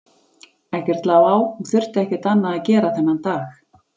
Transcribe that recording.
Ekkert lá á, hún þurfti ekkert annað að gera þennan dag.